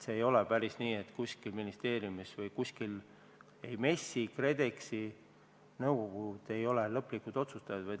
See ei ole päris nii, et otsus tehakse kuskil ministeeriumis või MES-is või KredExis, nende nõukogud ei ole lõplikud otsustajad.